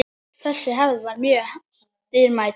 Þessi hefð var mjög dýrmæt.